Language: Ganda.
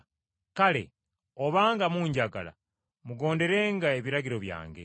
“Kale obanga munjagala mugonderenga ebiragiro byange,